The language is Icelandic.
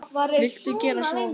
Viltu gera svo vel.